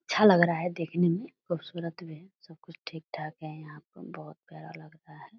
अच्छा लग रहा है देखने में खूबसूरत भी है सब कुछ ठीक-ठाक है यहाँ पे बहोत प्यारा लग रहा है।